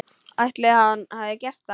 Ætli hann hafi gert það?